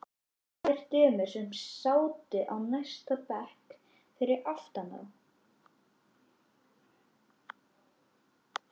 Tvær dömur sem sátu á næsta bekk fyrir aftan þá.